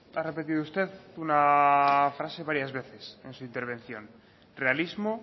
ha repetido usted una frase varias veces en su intervención realismo